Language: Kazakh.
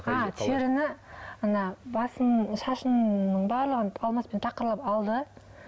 а теріні ана басымның ы шашымның барлығын алмаспен тақырлап алды